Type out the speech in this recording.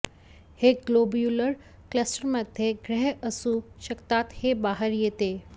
हे ग्लोब्युलर क्लस्टरमध्ये ग्रह असू शकतात हे बाहेर येते